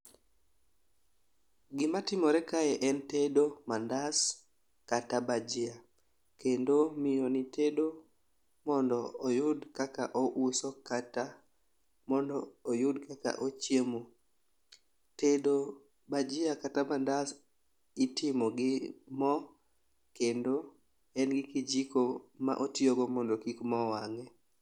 Gima timore kae en tedo mandas kata bajia kendo miyo ni tedo mondo oyud kaka ouso kata mondo oyud kaka ochiemo. Tedo bajia kata mandas itimo gi moo, kendo en gi kijiko motiyo go mondo kik moo wang'e.